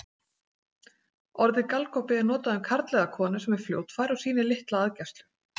Orðið galgopi er notað um karl eða konu sem er fljótfær og sýnir litla aðgæslu.